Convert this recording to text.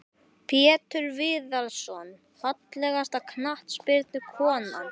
Pétur Viðarsson Fallegasta knattspyrnukonan?